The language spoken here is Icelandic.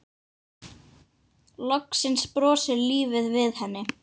Loksins brosir lífið við henni.